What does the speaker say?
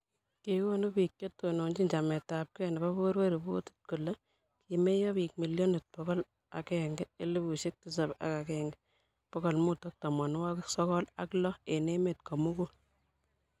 kikonu biik che tononchini chametabgei nebo borwek ripotit kole kimeyo biik milionit bokol agenge, elfusiek tisap ak agenge, bokol mut ak tamanwokik sokol ak lo eng' emet ko mugul